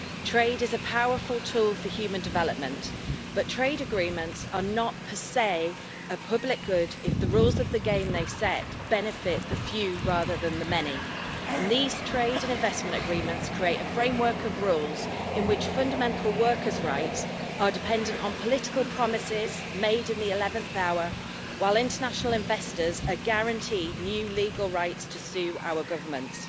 Trade is a powerful tool for human development, but trade agreements are not per se a public good if the rules of the game they set benefit the few rather than the many and these trade and investment agreements create a framework of rules in which fundamental workers' rights are dependent on political promises made in the 11th hour, while international investors are guaranteed new legal rights to sue our governments.